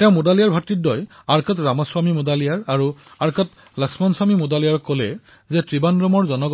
তেওঁ মুডালিয়াৰ ব্ৰাডাৰ্ছ আৰ্কট ৰামাস্বামী মুডালিয়াৰ আৰু আৰ্কট লক্ষ্মণস্বামী মুডালিয়াৰক শ্ৰাৱণকোৰৰ কিছু